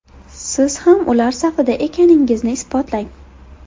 Siz ham ular safida ekaningizni isbotlang!